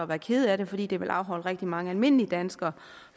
være kede af det fordi det vil afholde rigtig mange almindelige danskere